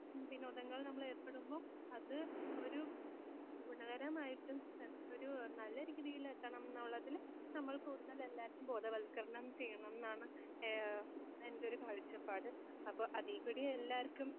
വിനോദങ്ങൾ നമ്മളേർപ്പെടുമ്പോ അത് ഒരു ഗുണകരമായിട്ടും അത് ഒരു നല്ല രീതിയിലെത്തണം എന്നുള്ളതിന് നമ്മൾ കൂടുതൽ എല്ലാവർക്കും ബോധവൽക്കരണം ചെയ്യണംന്നാണ് ഏഹ് എൻ്റെ ഒരു കാഴ്ചപ്പാട്. അപ്പോ അതീകൂടി എല്ലാവർക്കും